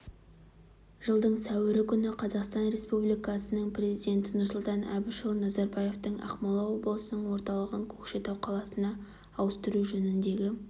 жылдың сәуірі күні қазақстан республикасының президенті нұрсұлтан әбішұлы назарбаевтың ақмола облысының орталығын көкшетау қаласына ауыстыру жөніндегі